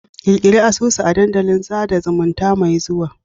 Ƙirƙiri asusu a dandalin sada zumunta mai zuwa